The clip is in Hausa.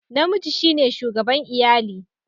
Namiji shi ne shugaban iyali.